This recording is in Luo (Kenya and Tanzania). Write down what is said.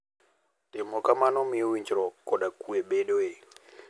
Timo kamano miyo winjruok koda kuwe bedoe.